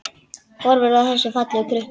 Horfir á þessa fallegu krukku.